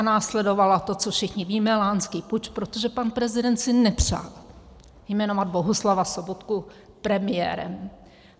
A následovalo to, co všichni víme, lánský puč, protože pan prezident si nepřál jmenovat Bohuslava Sobotku premiérem.